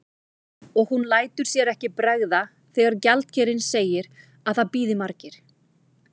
Og hún lætur sér ekki bregða þegar gjaldkerinn segir að það bíði margir.